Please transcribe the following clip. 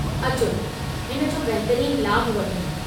अचो, हिन जो बहितरीन लाभु वठूं।